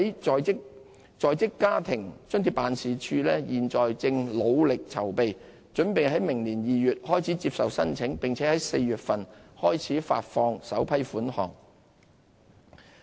在職家庭津貼辦事處現正努力籌備，準備在明年2月開始接受申請，並在4月份開始發放首批款項。